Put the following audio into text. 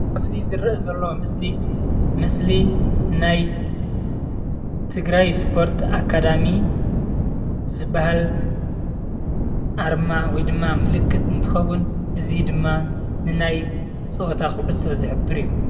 ኣብዚ እንሪኦ ዘለና ምስሊ ናይ ትግራይ ስፖርት ኣካዳሚ ዝበሃል ኣርማ ወይ ከዓ ምልክት እንትከውን ፤እዚ ድማ ናይ ፀወታ ኩዕሶ ዝሕብር እዩ።